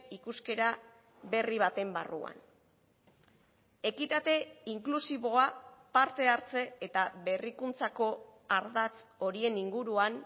ikuskera berri baten barruan ekitate inklusiboa parte hartze eta berrikuntzako ardatz horien inguruan